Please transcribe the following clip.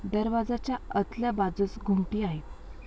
दरवाजाच्या अतल्या बाजुस घुमटी आहे.